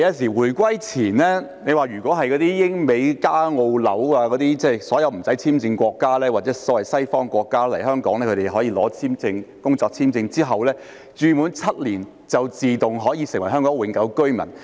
在回歸前，英、美、加、澳、紐等無需簽證國家人士，或所謂西方國家人士取得工作簽證來港後住滿7年，便可以自動成為香港永久性居民。